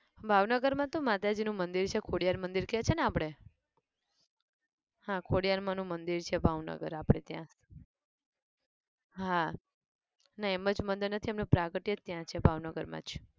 ભાવનગર માં તો માતાજી નું મંદિર છે ખોડિયાર મંદિર કેહ છે ને આપડે હા ખોડિયાર માં નું મંદિર છે ભાવનગર આપણે ત્યાં, હા. ના એમ જ મંદિર નથી એમનું પ્રાગટ્ય જ ત્યાં છે ભાવનગર માં જ